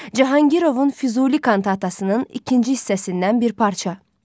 Cahangirovun Füzuli kantatasının ikinci hissəsindən bir parça.